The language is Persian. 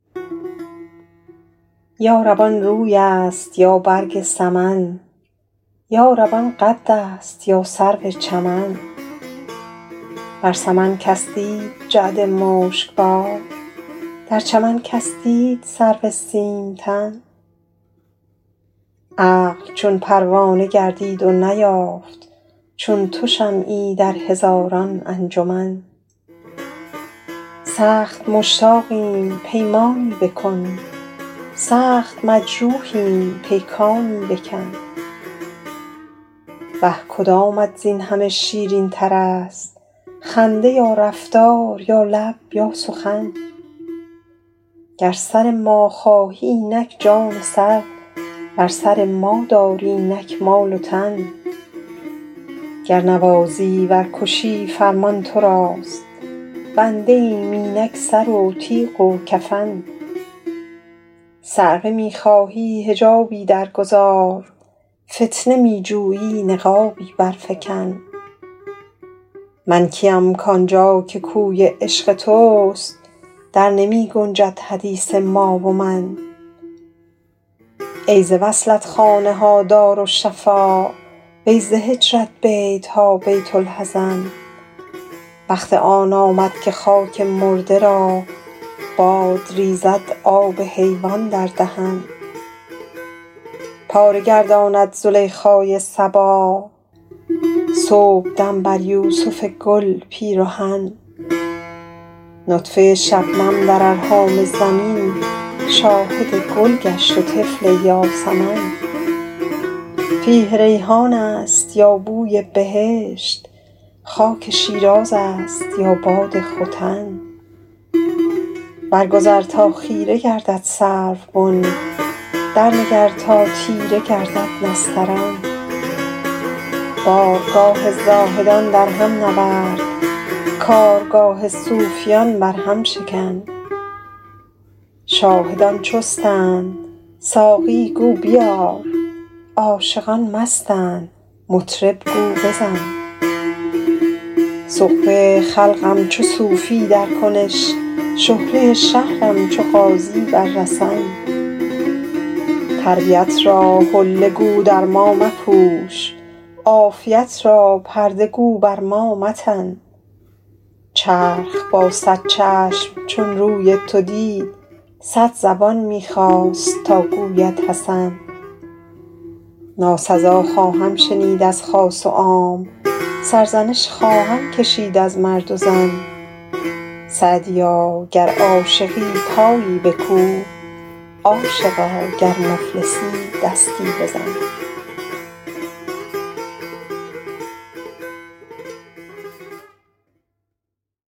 یا رب آن روی است یا برگ سمن یا رب آن قد است یا سرو چمن بر سمن کس دید جعد مشک بار در چمن کس دید سرو سیم تن عقل چون پروانه گردید و نیافت چون تو شمعی در هزاران انجمن سخت مشتاقیم پیمانی بکن سخت مجروحیم پیکانی بکن وه کدامت زین همه شیرین تر است خنده یا رفتار یا لب یا سخن گر سر ما خواهی اینک جان و سر ور سر ما داری اینک مال و تن گر نوازی ور کشی فرمان تو راست بنده ایم اینک سر و تیغ و کفن صعقه می خواهی حجابی در گذار فتنه می جویی نقابی بر فکن من کیم کآن جا که کوی عشق توست در نمی گنجد حدیث ما و من ای ز وصلت خانه ها دارالشفا وی ز هجرت بیت ها بیت الحزن وقت آن آمد که خاک مرده را باد ریزد آب حیوان در دهن پاره گرداند زلیخای صبا صبحدم بر یوسف گل پیرهن نطفه شبنم در ارحام زمین شاهد گل گشت و طفل یاسمن فیح ریحان است یا بوی بهشت خاک شیراز است یا باد ختن بر گذر تا خیره گردد سروبن در نگر تا تیره گردد نسترن بارگاه زاهدان در هم نورد کارگاه صوفیان بر هم شکن شاهدان چستند ساقی گو بیار عاشقان مستند مطرب گو بزن سغبه خلقم چو صوفی در کنش شهره شهرم چو غازی بر رسن تربیت را حله گو در ما مپوش عافیت را پرده گو بر ما متن چرخ با صد چشم چون روی تو دید صد زبان می خواست تا گوید حسن ناسزا خواهم شنید از خاص و عام سرزنش خواهم کشید از مرد و زن سعدیا گر عاشقی پایی بکوب عاشقا گر مفلسی دستی بزن